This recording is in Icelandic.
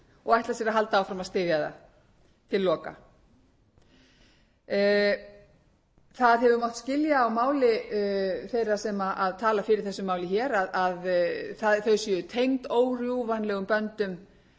og ætla sér að halda áfram að styðja það til loka það hefur mátt skilja á máli þeirra sem tala hér í þessu máli hér að þau séu tengd órjúfanlegum böndum þessi